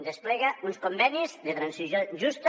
desplega uns convenis de transició justa